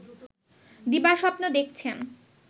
দিবাস্বপ্ন দেখছেন